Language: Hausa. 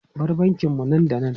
Bar bankin mu nan da nan!